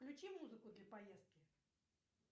включи музыку для поездки